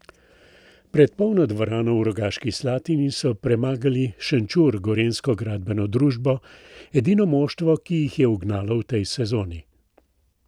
Pred polno dvorano v Rogaški Slatini so premagali Šenčur Gorenjsko gradbeno družbo, edino moštvo, ki jih je ugnalo v tej sezoni.